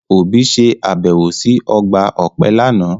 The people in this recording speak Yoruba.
Obi se abẹwo si ọgba ọpẹ lana.